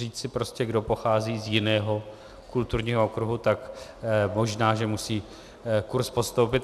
Říci prostě, kdo pochází z jiného kulturního okruhu, tak možná že musí kurz podstoupit.